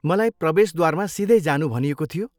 मलाई प्रवेशद्वारमा सिधै जानु भनिएको थियो।